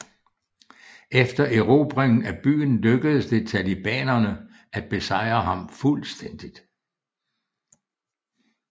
Efter erobringen af byen lykkedes det talibanerne at besejre ham fuldstændigt